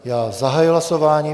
Já zahajuji hlasování.